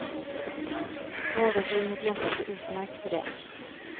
Vardagsrummet lämpar sig utmärkt för det.